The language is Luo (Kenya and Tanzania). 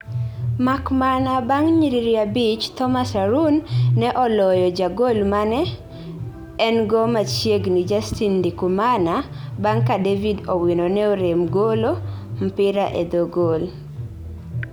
makmana bang nyiriri abich Thomas Harun ne oloyo jagolmane engo machiegni Justin Ndikumana, bang ka David Owino ne orem golo mpira e dhoo goal